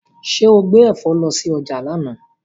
Ṣẹ́ o gbé ẹ̀fọ́ lọ sí ọjà lánàá?